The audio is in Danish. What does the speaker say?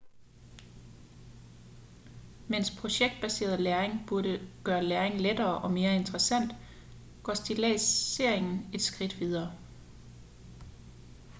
mens projektbaseret læring burde gøre læring lettere og mere interessant går stilladsering et skridt videre